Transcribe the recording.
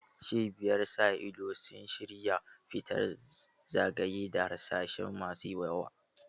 Cibiyar sa ido sun shira fita zagaye da harsashai masu yawa.